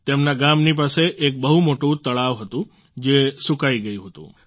તેમના ગામની પાસે એક બહુ મોટું તળાવ હતું જે સૂકાઈ ગયું હતું